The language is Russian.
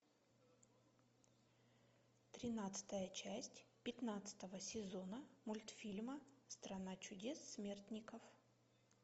тринадцатая часть пятнадцатого сезона мультфильма страна чудес смертников